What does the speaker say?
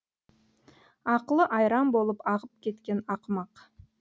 ақылы айран болып ағып кеткен ақымақ